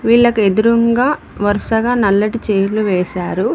వీళ్ళకి ఎదురుంగా వరుసగా నల్లటి చైర్లు వేశారు.